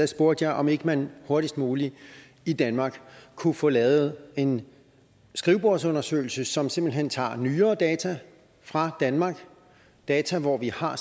spurgte jeg om ikke man hurtigst muligt i danmark kunne få lavet en skrivebordsundersøgelse som simpelt hen tager nyere data fra danmark data hvor vi har